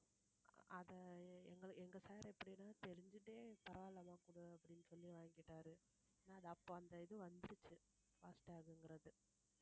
அதை எங்க எங்க sir இப்படி எல்லாம் தெரிஞ்சுகிட்டே பரவாயில்லம்மா குடு அப்படின்னு சொல்லி வாங்கிக்கிட்டாரு ஆனா அது அப்ப அந்த இது வந்துருச்சு fast tag ங்கிறது